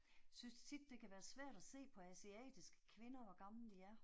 Synes tit det kan være svært at se på asiatiske kvinder hvor gamle de er